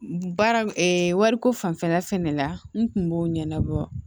Baara wariko fanfɛla fɛnɛ la n kun b'o ɲɛnabɔ